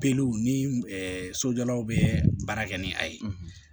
Peluw ni sojɔlaw be baara kɛ ni a ye